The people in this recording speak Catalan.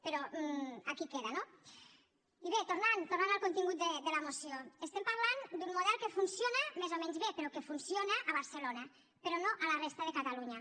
però aquí queda no i bé tornant tornant al contingut de la moció estem parlant d’un model que funciona més o menys bé però que funciona a barcelona però no a la resta de catalunya